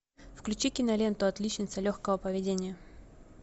включи киноленту отличница легкого поведения